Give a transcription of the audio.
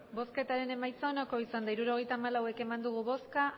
emandako botoak hirurogeita hamalau bai